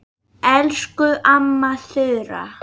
Elsku amma Þura.